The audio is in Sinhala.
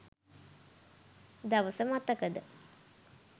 දවස මතකද?